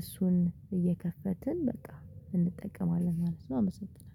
እሱን እየከፈትን በቃ እንጠቀማለን ማለት ነው አመሰግናለሁ።